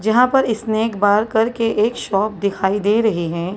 जहां पर snack bar करके एक शॉप दिखाई दे रही हैं।